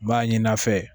N b'a ɲini a fɛ